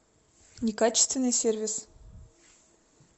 некачественный сервис